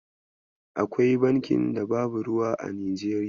Akwai bankin da babu ruwa a Nijeriya?